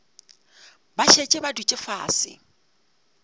ba šetše ba dutše fase